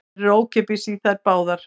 Verður ókeypis í þær báðar